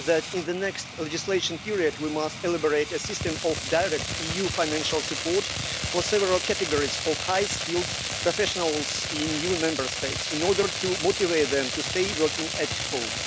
In the next legislative period, we must elaborate a system of direct EU financial support for several categories of highly skilled professionals in new Member States in order to motivate them to continue working at home.